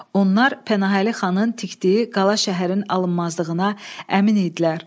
Onlar Pənahəli xanın tikdiyi qala şəhərin alınmazlığına əmin idilər.